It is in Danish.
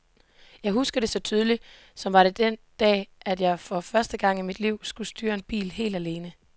Jeg husker det så tydeligt, for det var den dag, at jeg for første gang i mit liv skulle styre en bil helt alene.